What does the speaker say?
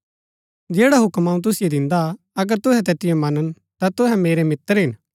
जैडा हूक्म अऊँ तुसिओ दिन्दा अगर तुहै तैतिओ मनन ता तुहै मेरै मित्र हिन